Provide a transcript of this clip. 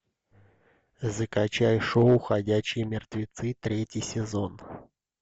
закачай шоу ходячие мертвецы третий сезон